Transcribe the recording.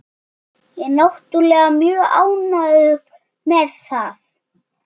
Og ég er náttúrlega mjög ánægður með það.